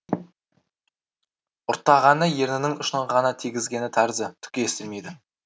ұрттағаны ернінің ұшын ғана тигізгені тәрізді түк естілмейді